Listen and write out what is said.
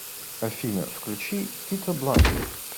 афина включи фито бланко